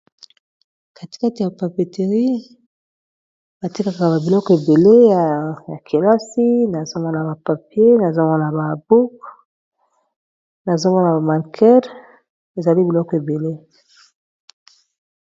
Katikata ya papeterie batie kaka ba biloko ebele ya kelasi nazomgwona ba papier nazomoana ba habuk nazomwa na bamanker ezali biloko ebele.